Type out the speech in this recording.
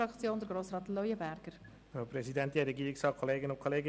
Wir kommen zu den Fraktionsvoten.